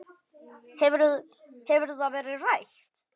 Hefur það verið rætt?